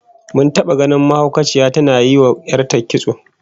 Mun taba ganin mahaukaciya tana yinwa 'yar ta kitso